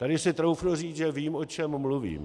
Tady si troufnu říct, že vím, o čem mluvím.